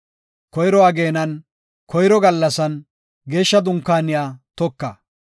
“Koyro ageenan, koyro gallasan, Geeshsha Dunkaaniya toka.